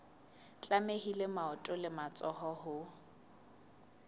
tlamehile maoto le matsoho ho